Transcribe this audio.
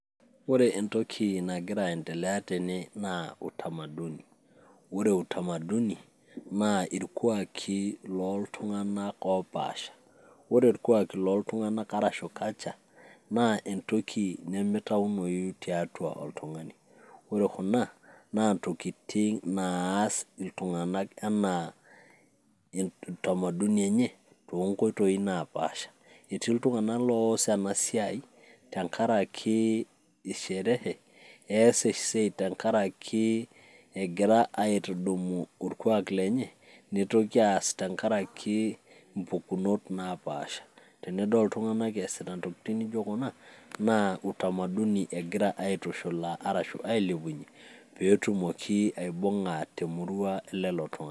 ore entoki nagira aendelea atene naa utamaduni. ore utamaduni naa irkuaaki ooltuganak opaasha, ore irkuaaki loo ltunganak arashu culture naa entoki nimitaunoyu tiatua oltungani. ore kuna naa ntokitin naas iltunganak anaa utamaduni enye toonkoitoi napaasha. etiii iltunganak loos ena siai, tenkaaki sherehe, ees esiai tenkaraki egira aitudumu orkuaak lenye, neitoki aas tenkaraki impukunot naapaasha. tenidol iltunganak eesita intokitin nijo kuna naa utamaduni egira aitushulaa arashu ailepunye pee etumi aibynga temurua elelo tunganak.